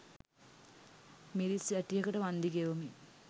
මිරිස් වැටියකට වන්දි ගෙවමින්